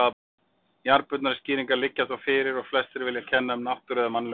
Jarðbundnari skýringar liggja þó fyrir og flestir vilja kenna um náttúru eða mannlegum mistökum.